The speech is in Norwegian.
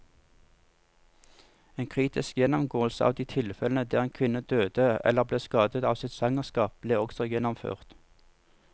En kritisk gjennomgåelse av de tilfellene der en kvinne døde eller ble skadet av sitt svangerskap, ble også gjennomført.